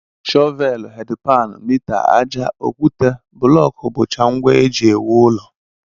Shọveelụ, hedị paanụ, mita, àjà, okwute, bụlọọkụ bụcha ngwa e ji ewu ụlọ